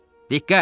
Diqqət!